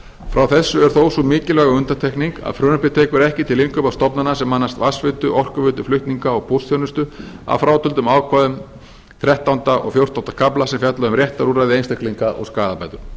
frá þessu er þó sú mikilvæga undantekning að frumvarpið tekur ekki til innkaupa stofnana sem annast vatnsveitu orkuveitu flutninga og póstþjónustu að frátöldum ákvæðum þrettánda og fjórtánda kafla sem fjalla um réttarúrræði einstaklinga og skaðabætur